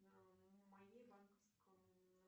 на моей банковской